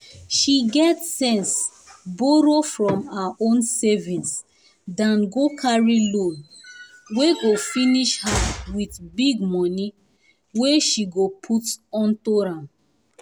she get sense borrow from her own savings than go carry loan wey go finish her with big money wey um she go put unto am